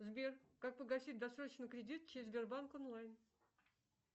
сбер как погасить досрочно кредит через сбербанк онлайн